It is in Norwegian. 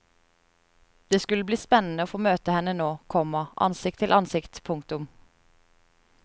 Det skulle bli spennende å få møte henne nå, komma ansikt til ansikt. punktum